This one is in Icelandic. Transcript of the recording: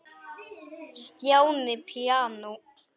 Stjáni píanó